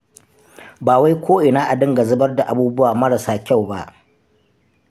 Ba wai ko'ina a dinga zubar da abubuwa marasa kyau ba.